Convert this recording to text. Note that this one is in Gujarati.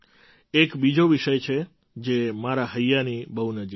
એક બીજો વિષય છે જે મારા હૈયાની બહુ નજીક છે